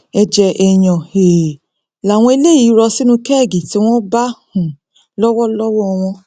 ẹjẹ èèyàn um làwọn eléyìí rọ sínú kẹẹgì tí wọn bá um lọwọ lọwọ wọn